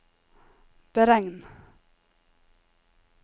beregn